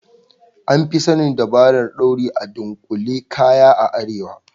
An Fi sanin dabarar dauri da dunkule kaya a arewa.